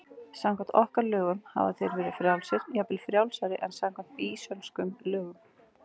Samkvæmt okkar lögum hafa þeir verið frjálsir, jafnvel frjálsari en samkvæmt býsönskum lögum.